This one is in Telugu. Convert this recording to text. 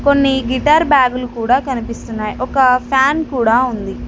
కొన్ని గిటార్ బ్యాగులు కూడా కనిపిస్తున్నాయ్ ఒక ఫ్యాన్ కూడా ఉంది.